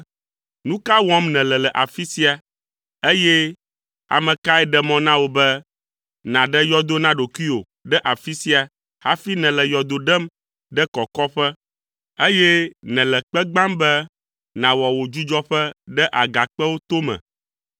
‘Nu ka wɔm nèle le afi sia, eye ame kae ɖe mɔ na wò be naɖe yɔdo na ɖokuiwò ɖe afi sia hafi nèle yɔdo ɖem ɖe kɔkɔƒe, eye nèle kpe gbãm be nàwɔ wò dzudzɔƒe ɖe agakpewo tome?’